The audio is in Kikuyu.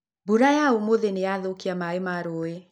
Mbura ya ũmũthĩ nĩ yathũkia maĩ ma rũũĩ.